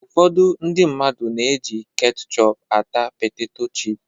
Ụfọdụ ndị mmadụ na-eji ketchọp ata peteto chịp